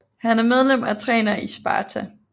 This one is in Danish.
Han er medlem og træner i Sparta